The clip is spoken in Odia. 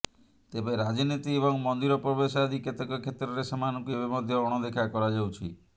ତେବେ ରାଜନୀତି ଏବଂ ମନ୍ଦିର ପ୍ରବେଶ ଆଦି କେତେକ କ୍ଷେତ୍ରରେ ସେମାନଙ୍କୁ ଏବେ ମଧ୍ୟ ଅଣଦେଖା କରାଯାଉଛି